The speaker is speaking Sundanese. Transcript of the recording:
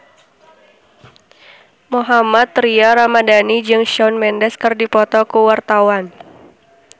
Mohammad Tria Ramadhani jeung Shawn Mendes keur dipoto ku wartawan